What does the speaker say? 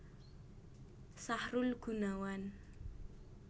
Sahrul Gunawan